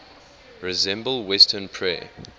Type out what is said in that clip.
resemble western prayer